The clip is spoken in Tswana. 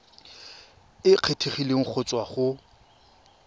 e kgethegileng go tswa go